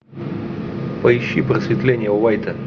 поищи просветление уайта